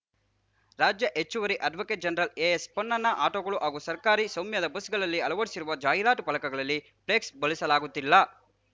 ರಾಜ್ಯ ಹೆಚ್ಚುವರಿ advocate general A S Ponnanna ಆಟೋಗಳು ಹಾಗೂ ಸರ್ಕಾರಿ ಸ್ವಾಮ್ಯದ ಬಸ್‌ಗಳಲ್ಲಿ ಅಳವಡಿಸುತ್ತಿರುವ ಜಾಹಿರಾತು ಫಲಕಗಳಲ್ಲಿ ಫ್ಲೆಕ್ಸ್‌ ಬಳಸಲಾಗುತ್ತಿಲ್ಲ